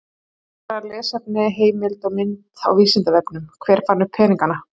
Frekara lesefni, heimild og mynd á Vísindavefnum: Hver fann upp peningana?